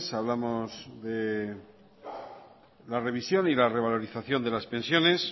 hablamos de la remisión y la revalorización de las pensiones